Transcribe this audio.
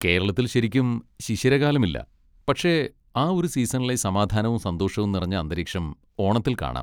കേരളത്തിൽ ശരിക്കും ശിശിരകാലം ഇല്ല, പക്ഷെ ആ ഒരു സീസണിലെ സമാധാനവും സന്തോഷവും നിറഞ്ഞ അന്തരീക്ഷം ഓണത്തിൽ കാണാം.